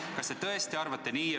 Kas te tõesti arvate nii?